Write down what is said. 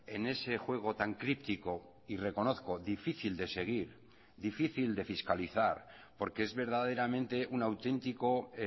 en ese juego tan crítico y reconozco difícil de seguir difícil de fiscalizar porque es verdaderamente un auténtico